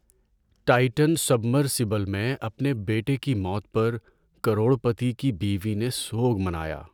Titan submersible میں اپنے بیٹے کی موت پر کروڑ پتی کی بیوی نے سوگ منایا۔